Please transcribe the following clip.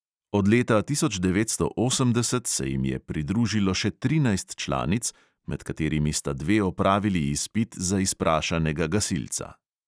Od leta tisoč devetsto osemdeset se jim je pridružilo še trinajst članic, med katerimi sta dve opravili izpit za izprašanega gasilca.